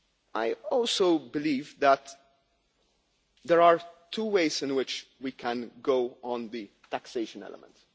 I also believe that there are two ways in which we can go on the taxation element.